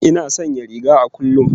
Ina sanya riga a kullum